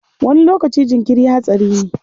Wani lokaci jinkiri hatsari ne.